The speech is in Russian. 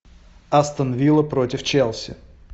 астон вилла против челси